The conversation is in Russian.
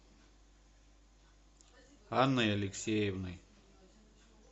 анной алексеевной